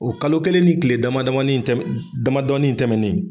O kalo kelen ni tile damadamani in tɛm damadɔni in tɛmɛnen